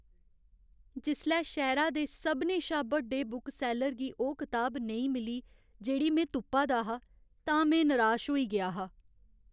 जिसलै शैह्‌रे दे सभनें शा बड्डे बुकसैल्लर गी ओह् कताब नेईं मिली जेह्ड़ी में तुप्पा दा हा तां में निराश होई गेआ हा।